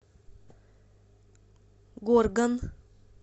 горган